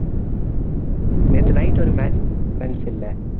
நேற்று night ஒரு match நடந்துச்சு இல்லை